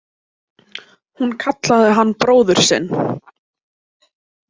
Hún kallaði hann bróður sinn.